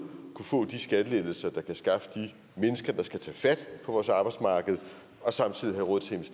kunne få de skattelettelser der kan skaffe de mennesker der skal tage fat på vores arbejdsmarked og samtidig have råd